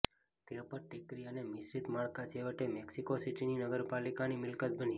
તે પર ટેકરી અને મિશ્રિત માળખાં છેવટે મેક્સિકો સિટીની નગરપાલિકાની મિલકત બની